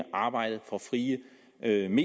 det er den